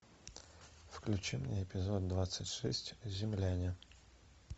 включи мне эпизод двадцать шесть земляне